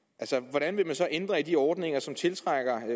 hvordan vil man så ændre i de ordninger som tiltrækker